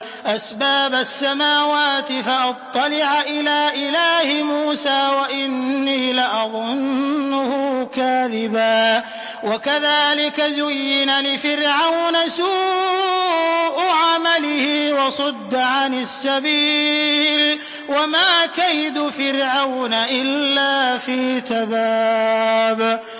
أَسْبَابَ السَّمَاوَاتِ فَأَطَّلِعَ إِلَىٰ إِلَٰهِ مُوسَىٰ وَإِنِّي لَأَظُنُّهُ كَاذِبًا ۚ وَكَذَٰلِكَ زُيِّنَ لِفِرْعَوْنَ سُوءُ عَمَلِهِ وَصُدَّ عَنِ السَّبِيلِ ۚ وَمَا كَيْدُ فِرْعَوْنَ إِلَّا فِي تَبَابٍ